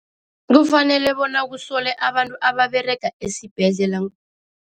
Kufanele bona kusole abantu ababerega esibhedlela